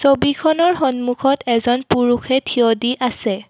ছবিখনৰ সন্মুখত এজন পুৰুষে থিয় দি আছে।